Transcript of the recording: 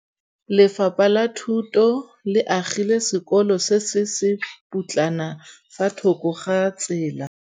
Lefapha la Thuto le agile sekôlô se se pôtlana fa thoko ga tsela.